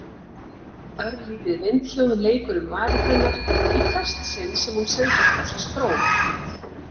Örlítið vindhljóð leikur um varir hennar í hvert sinn sem hún sendir frá sér strók.